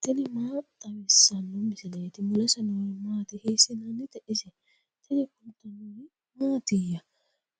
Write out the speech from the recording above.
tini maa xawissanno misileeti ? mulese noori maati ? hiissinannite ise ? tini kultannori mattiya?